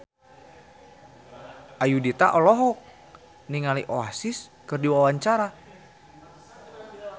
Ayudhita olohok ningali Oasis keur diwawancara